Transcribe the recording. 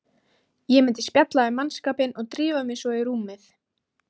Var að sjálfsögðu haldinn blaðamannafundur til þess að kynna skýrsluna, auk þess sem